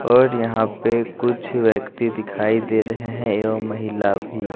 और यहां पे कुछ व्यक्ति दिखाई दे रहे हैं एवं महिला भी--